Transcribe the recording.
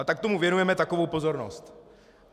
A tak tomu věnujeme takovou pozornost."